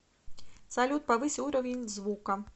салют повысь уровень звука